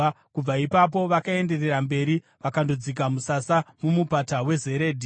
Kubva ipapo vakaenderera mberi vakandodzika musasa muMupata weZeredhi.